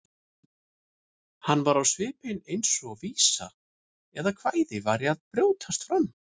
Hann var á svipinn eins og vísa eða kvæði væri að brjótast fram.